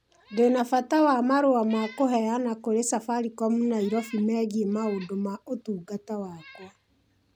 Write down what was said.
Ndĩ na bata wa marũa ma kũheana kũrĩ Safaricom Nairobi megiĩ maũndũ ma ũtungata wakwa